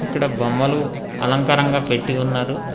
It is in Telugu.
ఇక్కడ బొమ్మలు అలంకారంగా పెట్టి ఉన్నారు.